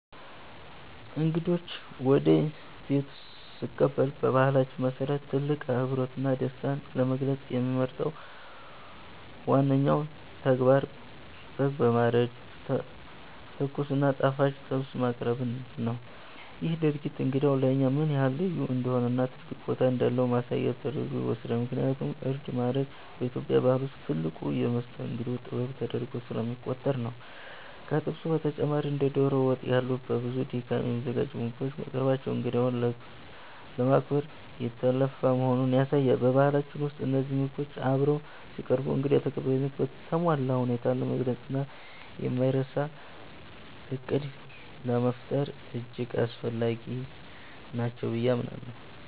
እንግዶችን ወደ ቤቴ ስቀበል በባህላችን መሰረት ትልቅ አክብሮትና ደስታን ለመግለጽ የምመርጠው ዋነኛው ተግባር በግ በማረድ ትኩስ እና ጣፋጭ ጥብስ ማቅረብን ነው። ይህ ድርጊት እንግዳው ለእኛ ምን ያህል ልዩ እንደሆነና ትልቅ ቦታ እንዳለው ማሳያ ተደርጎ ይወሰዳል፤ ምክንያቱም እርድ ማረድ በኢትዮጵያ ባህል ውስጥ ትልቁ የመስተንግዶ ጥበብ ተደርጎ ስለሚቆጠር ነው። ከጥብሱ በተጨማሪ እንደ ዶሮ ወጥ ያሉ በብዙ ድካም የሚዘጋጁ ምግቦች መቅረባቸው እንግዳውን ለማክበር የተለፋ መሆኑን ያሳያሉ። በባህላችን ውስጥ እነዚህ ምግቦች አብረው ሲቀርቡ እንግዳ ተቀባይነትን በተሟላ ሁኔታ ለመግለጽና የማይረሳ ማዕድ ለመፍጠር እጅግ አስፈላጊ ናቸው ብዬ አምናለሁ።